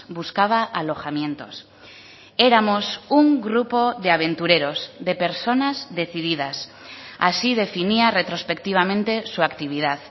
buscaba alojamientos éramos un grupo de aventureros de personas decididas así definía retrospectivamente su actividad